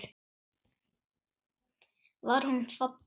Var hún falleg?